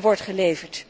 wordt geleverd?